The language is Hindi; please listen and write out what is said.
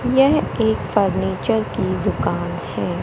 यह एक फर्नीचर की दुकान है।